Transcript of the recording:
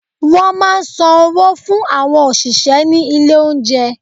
Wọ́n máa ń san owó fún àwọn òṣìṣẹ́ ní ilé oúnjẹ.